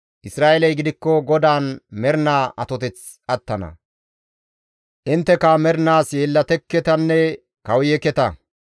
Isra7eeley gidikko GODAAN mernaa atoteth attana; intteka mernaas yeellatekketanne kawuyekketa.